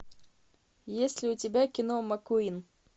есть ли у тебя кино маккуин